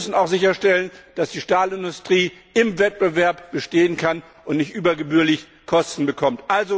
Wir müssen auch sicherstellen, dass die Stahlindustrie im Wettbewerb bestehen kann und nicht übergebührlich Kosten auferlegt bekommt.